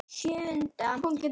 Hún getur ekki útskýrt það.